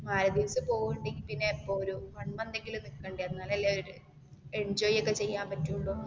മാലി ദ്വീപ്സിൽ പോകുന്നെങ്കിൽ പിന്നേ ഒരു വൺ മന്ത് എങ്കിലും നിക്കണ്ടേ എന്നാൽ അല്ലേ ഒരു എന്ജോയ് ഒക്കേ ചെയ്യാൻ ഒക്കേ പറ്റുള്ളൂ.